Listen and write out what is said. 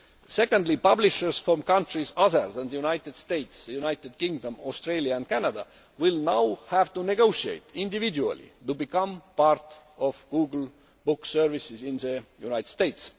Secondly, publishers from countries other than the United States, the United Kingdom, Australia and Canada will now have to negotiate individually to become part of Google Books services in the United States.